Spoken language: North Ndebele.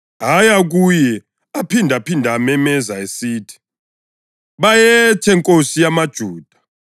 aya kuye aphindaphinda ememeza esithi, “Bayethe! Nkosi yamaJuda!”